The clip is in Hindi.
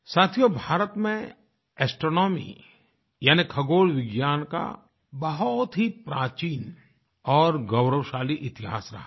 साथियो भारत में एस्ट्रोनॉमी यानि खगोलविज्ञान का बहुत ही प्राचीन और गौरवशाली इतिहास रहा है